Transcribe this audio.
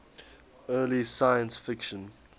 early science fiction